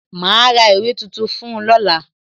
Ma ra ìwé tuntun fún ọ lọ́la